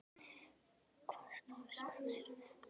Hvaða starfsmenn eru þetta?